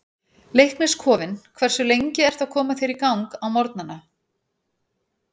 Leiknis kofinn Hversu lengi ertu að koma þér í gang á morgnanna?